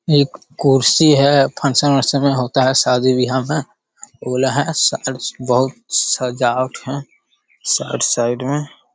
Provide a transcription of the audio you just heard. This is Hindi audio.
एक कुर्सी है फंक्शन वक्शन में होता है शादी बीहा में उ वाला है साइड से बहुत सजावट है साइड साइड में।